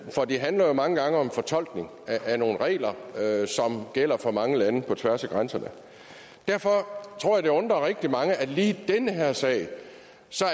for det handler jo mange gange om fortolkning af nogle regler som gælder for mange lande på tværs af grænserne derfor tror jeg det undrer rigtig mange at lige i den her sag